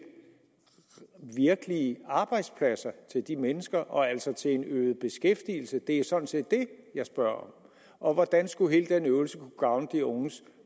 virkelige arbejdspladser til de mennesker og altså til en øget beskæftigelse det er sådan set det jeg spørger om hvordan skulle hele den øvelse kunne gavne de unges